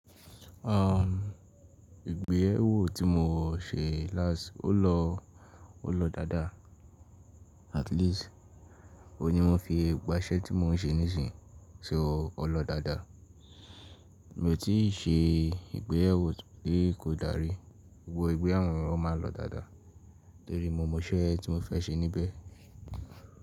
Uhm, ìgbéyàwó tí mo ṣe lást, ó lọ, ó lọ dáadáa. At least, òní mo fi gbà ṣẹ́ tí mo ń ṣe nísìnyí ṣo ó lọ dáadáa. Mi ò tíì ṣe ìgbéyàwó tí kò dàrí, gbogbo ìgbéyàwó mí máa ń lọ dáadáa torí mo mọ iṣẹ́ tí mo fẹ́ ṣe níbẹ̀